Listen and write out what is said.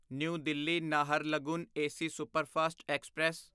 new Delhi Naharlagun AC superfast express